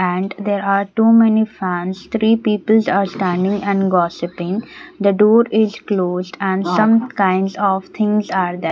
and there are two many fans three peoples are standing and gossiping the door is closed and some kinds of things are there.